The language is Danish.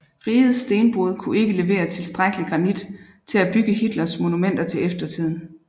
Rigets stenbrud kunne ikke levere tilstrækkelig granit til at bygge Hitlers monumenter til eftertiden